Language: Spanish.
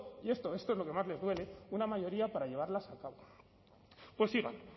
y esto es lo que más les duele una mayoría para llevarlas a cabo pues sigan